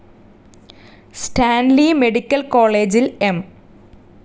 Stanley medical കോളേജിൽ M.